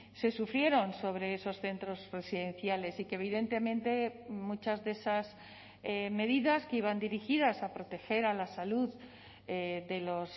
se sufrieron sobre esos centros residenciales y que evidentemente muchas de esas medidas que iban dirigidas a proteger la salud de los